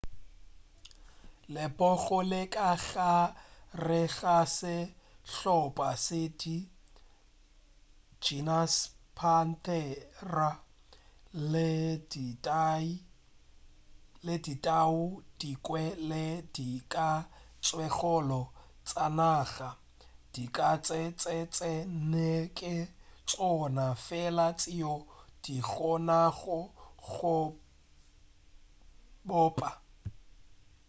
lepogo le ka gare ga sehlopa se tee genus panthera le ditau dinkwe le dikatsekgolo tša naga. dikatse tše tše nne ke tšona fela tšeo di kgonago go bopa